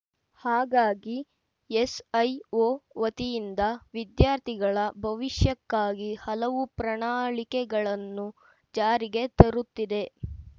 ಹಾಗಾಗಿ ಎಸ್ಐಓ ವತಿಯಿಂದ ವಿದ್ಯಾರ್ಥಿಗಳ ಭವಿಷ್ಯಕ್ಕಾಗಿ ಹಲವು ಪ್ರಣಾಳಿಕೆಗಳನ್ನು ಜಾರಿಗೆ ತರುತ್ತಿದೆ